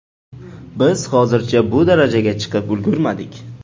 Biz hozircha bu darajaga chiqib ulgurmadik.